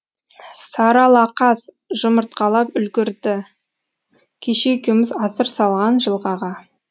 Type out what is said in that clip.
саралақаз жұмыртқалап үлгірді кеше екеуміз асыр салған жылғаға